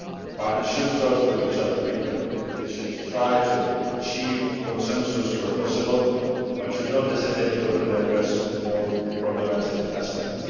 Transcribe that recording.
Partners should talk to each other frequently, they should try to achieve consensus where possible, but should not hesitate to openly address more problematic aspects.